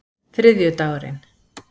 þriðjudagurinn